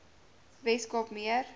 wes kaap meer